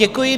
Děkuji.